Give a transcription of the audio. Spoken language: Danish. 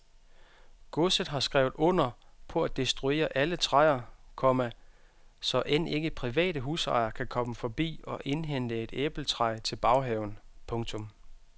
Godset har skrevet under på at destruere alle træer, komma så end ikke private husejere kan komme forbi og hente et æbletræ til baghaven. punktum